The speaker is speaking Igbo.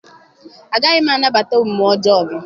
Agaghị m anabata omume ọjọọ gị.